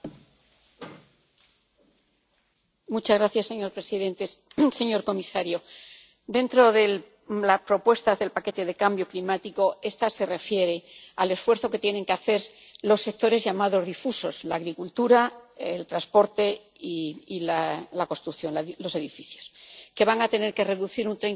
Señor presidente, señor comisario, dentro de las propuestas del paquete de cambio climático, esta se refiere al esfuerzo que tienen que hacer los sectores llamados difusos la agricultura, el transporte y la construcción, los edificios, que van a tener que reducir en un 30 sus emisiones respecto a las de